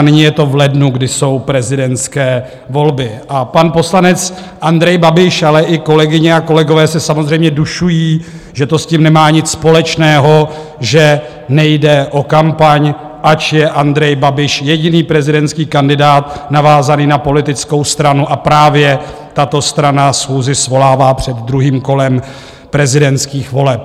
A nyní je to v lednu, kdy jsou prezidentské volby, a pan poslanec Andrej Babiš, ale i kolegyně a kolegové se samozřejmě dušují, že to s tím nemá nic společného, že nejde o kampaň, ač je Andrej Babiš jediný prezidentský kandidát navázaný na politickou stranu a právě tato strana schůzi svolává před druhým kolem prezidentských voleb.